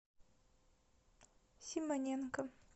симоненко